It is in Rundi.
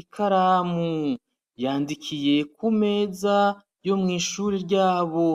ikaramu, yandikiye ku meza yo mw'ishure ryabo.